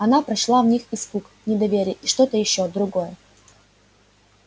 она прочла в них испуг недоверие и что-то ещё другое